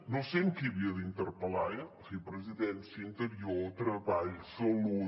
no sé a qui havia d’interpel·lar eh en fi presidència interior treball salut